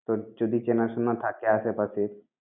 তোর যদি চেনাশোনা থাকে আশেপাশে।